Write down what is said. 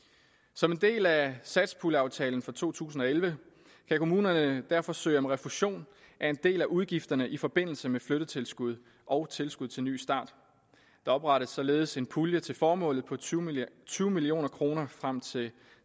som en del af satspuljeaftalen for to tusind og elleve kan kommunerne derfor søge om refusion af en del af udgifterne i forbindelse med flyttetilskud og tilskud til ny start der oprettes således en pulje til formålet på tyve million tyve million kroner frem til